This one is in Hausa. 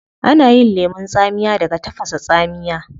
Ana yin lemun tsamiya daga tafasa tsamiya